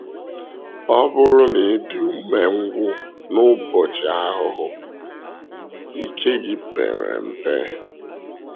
“Ọ bụrụ na ị dị ụmèngwụ n’ụbọchị ahụhụ, ike gị pèrè mpe.”